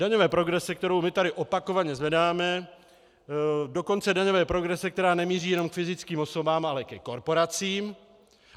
Daňové progrese, kterou my tady opakovaně zvedáme, dokonce daňové progrese, která nemíří jenom k fyzickým osobám, ale ke korporacím.